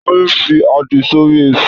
Táyé fi àdí sórí Èṣù.